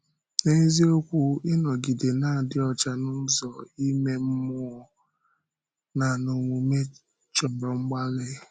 N’eziokwu, ịnọgide na-adị ọcha n’ụzọ ime mmụọ na n’omume chọ̀rọ mgbalị.